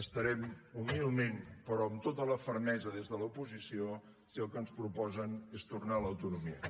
estarem humilment però amb tota la fermesa des de l’oposició si el que ens proposen és tornar a l’autonomia